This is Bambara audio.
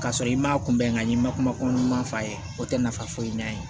K'a sɔrɔ i ma kunbɛn ka ɲɛ i ma kuma ɲuman fɔ a ye o tɛ nafa foyi ɲɛ a ye